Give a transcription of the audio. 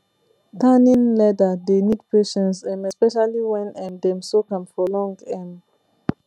tanning leather dey need patience um especially when um dem soak am for long um